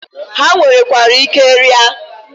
Ha nwerekwara ike ria.